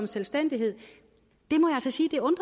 selvstændigt det